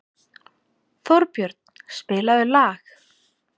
Þórbjörn, spilaðu lag.